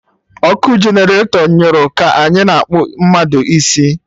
Ọkụ generatọ nyụrụ ka anyị na-akpụ mmadụ isi